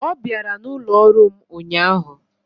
Ọ bịara n'ụlọ ọrụ m ụnyaahụ.